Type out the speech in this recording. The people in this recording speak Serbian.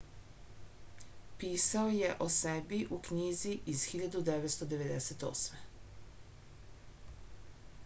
pisao je o sebi u knjizi iz 1998